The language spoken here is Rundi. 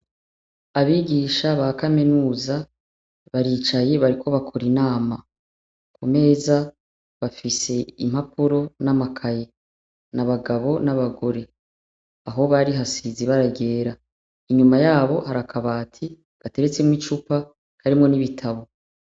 Abigisha ba kaminuza baricaye, bariko bakora inama. Ku meza, bafise impapuro n'amakaye. N'abagabo n'abagore. Aho bari hasize ibara ryera. Inyuma yabo hari akabati gateretsemw'icupa, karimwo n'ibitabo.